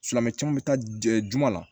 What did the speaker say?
Silamɛmɛ caman bɛ taa juguman na